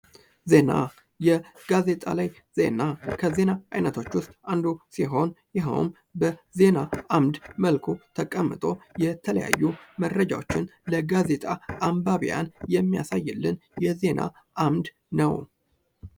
ዜና:) የጋዜጣ ላይ ዜና ከዜና አይነቶች ዉስጥ አንዱ ሲሆን ይኸዉም በዜና አምድ መልኩ ተቀምጦ በተለያየ መልኩ መረጃዎችን ለጋዜጣ ለአንባቢያን የሚያሳይልን የዜና አምድ ነዉ።